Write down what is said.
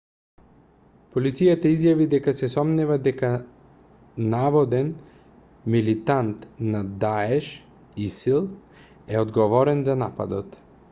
полицијата изјави дека се сомнева дека наводен милитант на даеш исил е одговорен за нападот